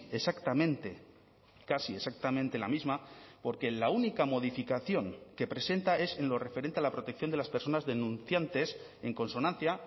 exactamente casi exactamente la misma porque la única modificación que presenta es en lo referente a la protección de las personas denunciantes en consonancia